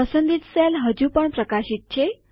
પસંદિત સેલ હજુ પણ પ્રકાશિત છે